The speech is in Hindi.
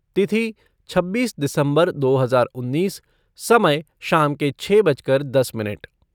तिथि छब्बीस दिसम्बर दो हज़ार उन्नीस, समय शाम के छः बजकर दस मिनट